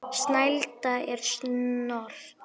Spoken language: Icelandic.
Snælda er Snotra